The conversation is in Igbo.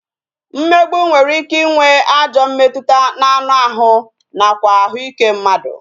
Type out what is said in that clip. Mmegbu nwere ike ịnwe ajọ mmetụta n'anụ ahụ nakwa ahụike mmadụ